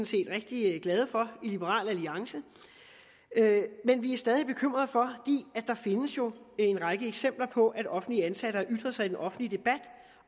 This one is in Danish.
set rigtig glade for i liberal alliance men vi er stadig væk bekymrede for der findes jo en række eksempler på at offentligt ansatte har ytret sig i den offentlige debat